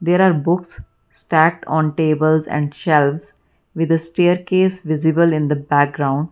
there are books stacked on tables and shelves with the staircase visible in the background.